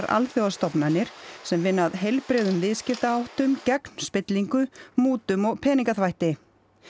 alþjóðastofnanir sem vinna að heilbrigðum viðskiptaháttum gegn spillingu mútum og peningaþvætti